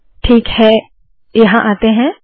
ठीक है यहाँ आते है